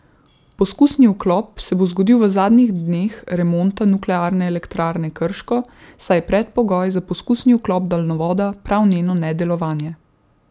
Poskusni vklop se bo zgodil v zadnjih dneh remonta Nuklearne elektrarne Krško, saj je predpogoj za poskusni vklop daljnovoda prav njeno nedelovanje.